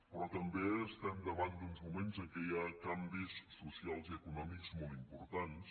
però també estem davant d’uns moments en què hi ha canvis socials i econòmics molt importants